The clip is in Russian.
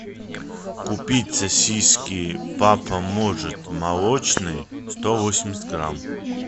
купить сосиски папа может молочные сто восемьдесят грамм